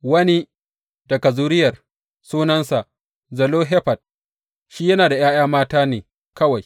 Wani daga zuriyar, sunansa Zelofehad, shi yana da ’ya’yan mata ne kawai.